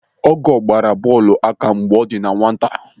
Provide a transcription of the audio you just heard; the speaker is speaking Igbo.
Ọgọọ gbara bọọlụ aka mgbe ọ dị na nwata.